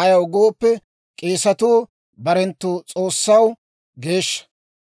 Ayaw gooppe, k'eesatuu barenttu S'oossaw geeshsha.